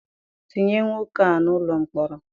Tinye nwoke a n'ụlọ mkpọrọ!